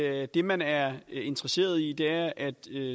at det man er interesseret i er at